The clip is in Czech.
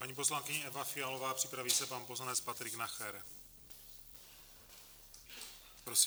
Paní poslankyně Eva Fialová, připraví se pan poslanec Patrik Nacher.